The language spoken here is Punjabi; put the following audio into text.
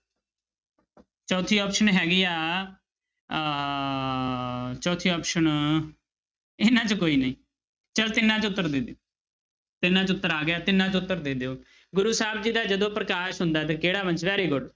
ਚੌਥੀ option ਹੈਗੀ ਆ ਅਹ ਚੌਥੀ option ਇਹਨਾਂ ਚੋਂ ਕੋਈ ਨਹੀਂ ਚਲੋ ਤਿੰਨਾਂ ਚੋਂ ਉੱਤਰ ਦੇ ਦਿਓ ਤਿੰਨਾਂ 'ਚ ਉੱਤਰ ਆ ਗਿਆ ਤਿੰਨਾਂ 'ਚ ਉੱਤਰ ਦੇ ਦਿਓ ਗੁਰੂ ਸਾਹਿਬ ਜੀ ਦਾ ਜਦੋਂ ਪ੍ਰਕਾਸ਼ ਹੁੰਦਾ ਤੇ ਕਿਹੜਾ ਵੰਸ very good